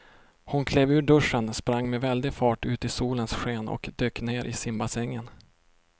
Hon klev ur duschen, sprang med väldig fart ut i solens sken och dök ner i simbassängen.